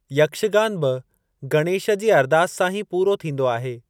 यक्षगान बि गणेश जी अरदास सां ही पूरो थींदो आहे।